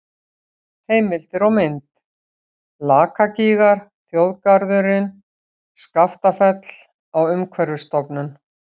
Heimildir og mynd: Lakagígar, Þjóðgarðurinn Skaftafell á Umhverfisstofnun.